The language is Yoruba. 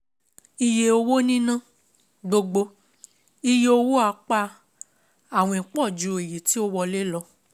Iye owó níná: Gbogbo iye owó apá àwìn pọ̀ ju èyí tí ó wọlé lọ.